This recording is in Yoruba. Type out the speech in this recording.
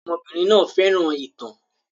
Ọmọbìnrin náà fẹ́ràn ìtàn.